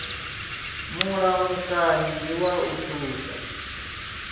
mulamukanyi ndi wa u thusa